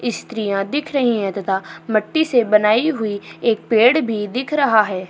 स्त्रियाँ दिख रही हैं तथा मिट्टी से बनाई हुई एक पेड़ भी दिखा रहा है।